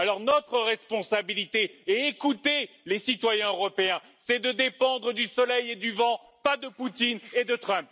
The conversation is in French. Alors, notre responsabilité, et écoutez les citoyens européens, c'est de dépendre du soleil et du vent, pas de Poutine et de Trump.